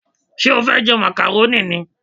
Ṣé o fẹ́ jẹ màkàrónì ni?